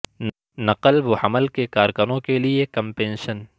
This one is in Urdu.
نقل و حمل کے کارکنوں کے لئے کم پنشن